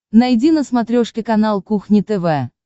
найди на смотрешке канал кухня тв